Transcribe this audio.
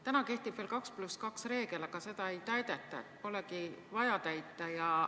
Täna kehtib veel 2 + 2 reegel, aga seda ei täideta, polegi vaja täita.